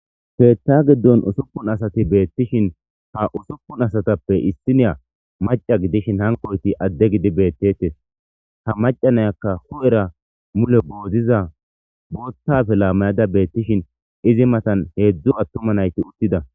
Keetta giddon usuppun asati beettishin ha usupun asatappe issiniya maca gidishin hankoyti adde gidi beettetes ha macanayakka hu'era mule boodziza boottafe laamayada beettishin izi matan heedzdzu attuma nayti uttida.